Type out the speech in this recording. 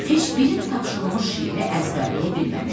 Heç biri də tapşırılmış şeiri əzbərləyə bilməmişdi.